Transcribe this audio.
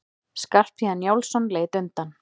Skarphéðinn Njálsson leit undan.